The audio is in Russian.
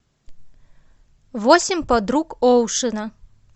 восемь подруг оушена